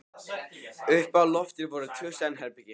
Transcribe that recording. Uppi á lofti voru tvö svefnherbergi.